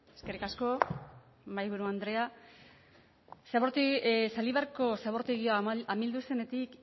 eskerrik asko mahaiburu andrea zaldibarko zabortegia amildu zenetik